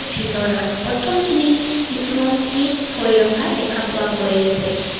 ভিতৰত প্ৰথমখিনিত কিছুমান কেক থৈ ৰখা দেখা পোৱা গৈ আছে।